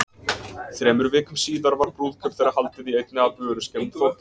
Þremur vikum síðar var brúðkaup þeirra haldið í einni af vöruskemmum Þórkels.